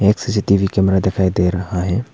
एक CCTV camera दिखाई दे रहा है।